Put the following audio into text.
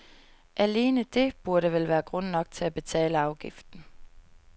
Alene det burde vel være grund nok til at betale afgiften.